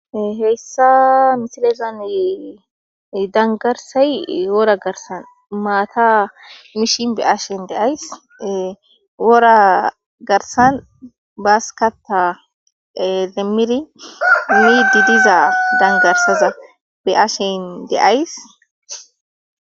Heyssa misilezani dangarsay wora garsan maata mishi be ashen deays wora garsan baaskata lemmiri midi diza dangarsaza be ashen deays.